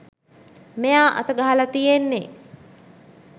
මෙයා අත ගහල තියෙන්නෙ